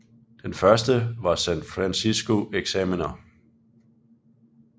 Den første var San Francisco Examiner